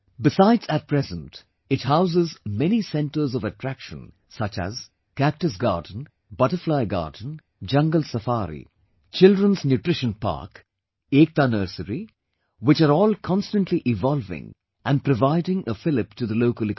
Besides, at present, it houses many centres of attraction such as Cactus Garden, Butterfly Garden, Jungle Safari, and Children's Nutrition Park, Ekta Nursery, which are all constantly evolving and providing a fillip to the local economy